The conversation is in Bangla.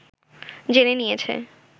জেনে নিয়েছে